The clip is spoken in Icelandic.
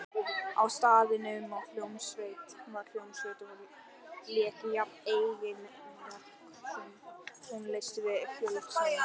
Á staðnum var hljómsveit og lék jafnt eigin verk sem tónlist við fjöldasöng.